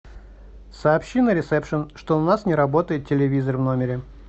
сообщи на ресепшен что у нас не работает телевизор в номере